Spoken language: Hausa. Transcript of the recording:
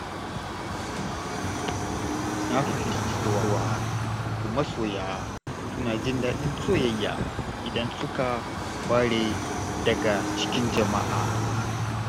Na fahimci cewa wasu masoya suna jin daɗin soyayya idan suka ware daga cikin jama'a.